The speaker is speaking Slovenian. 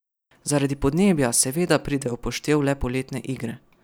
Zaradi podnebja seveda pridejo v upoštev le poletne igre.